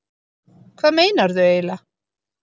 Hvað meinarðu eiginlega?